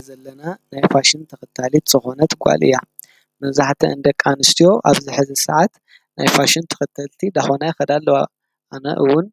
እዛ ንሪአ ዘለና ናይ ፋሽን ተኸታሊት ዝኮነት ጓል እያ፡፡ መብዛሕትአን ደቂ አንስትዮ አብ ዝሕዚ ሰዓት ናይ ፋሽን ተኸተልቲ እናኾና ይኸዳ አለዋ፡፡ አነ እውን